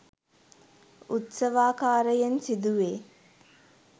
උත්සවාකාරයෙන් සිදු වේ.